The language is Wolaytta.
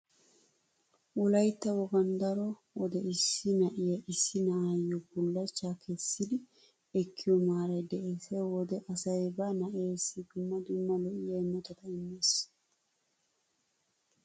Wolaytta wogan daro wode issi na'ay issi na'iyo bullachchaa kessidi ekkiyo maaray dees. He wode asay ba na'eessi dumma dumma lo'iya imotata immees.